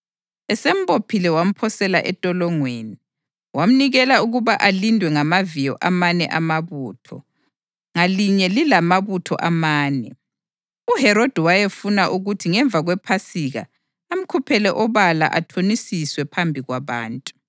Esembophile wamphosela entolongweni, wamnikela ukuba alindwe ngamaviyo amane amabutho, ngalinye lilamabutho amane. UHerodi wayefuna ukuthi ngemva kwePhasika amkhuphele obala athonisiswe phambi kwabantu.